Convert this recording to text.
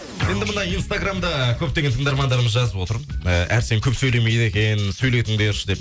енді мына инстаграмда көптеген тыңдармандарымыз жазып отыр ііі әрсен көп сөйлемейді екен сөйлетіңдерші деп